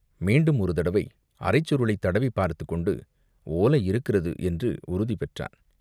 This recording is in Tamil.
மீண்டும் ஒரு தடவை அரைச்சுருளைத் தடவிப் பார்த்துக்கொண்டு ஓலை இருக்கிறது என்று உறுதி பெற்றான்.